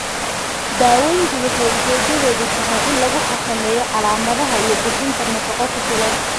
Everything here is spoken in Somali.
Daaweyntu waxay ujeedadeedu tahay in lagu xakameeyo calaamadaha iyo bixinta nafaqo ku filan.